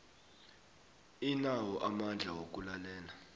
inawo amandla wokulalela